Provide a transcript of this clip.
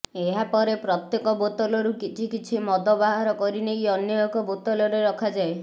ଏହାପରେ ପ୍ରତ୍ୟକ ବୋତଲରୁ କିଛି କିଛି ମଦ ବାହାର କରିନେଇ ଅନ୍ୟ ଏକ ବୋତଲରେ ରଖାଯାଏ